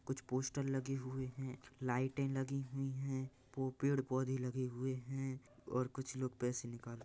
कुछ पोस्टर लगे हुए है लाइटे लगी हुई है पो पेड़ पौधे लगे हुए है और कुछ लोग पैसे निकाल र--